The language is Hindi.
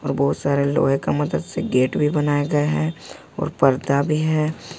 बहुत सारे लोहे का मदद से गेट भी बनाया गया है और पर्दा भी है।